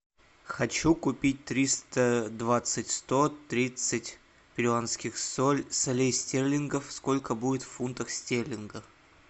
хочу купить триста двадцать сто тридцать перуанских солей стерлингов сколько будет в фунтах стерлингов